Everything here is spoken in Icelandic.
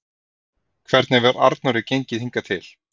Hvernig hefur Arnóri gengið hingað til?